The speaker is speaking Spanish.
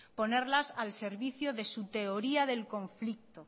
ponerlas al servicio de su teoría del conflicto